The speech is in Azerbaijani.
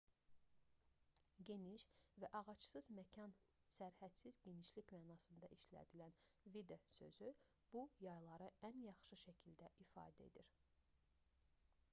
geniş və ağacsız məkan sərhədsiz genişlik mənasında işlədilən vidde sözü bu yayları ən yaxşı şəkildə ifadə edir